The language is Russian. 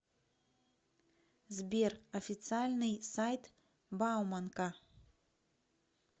сбер официальный сайт бауманка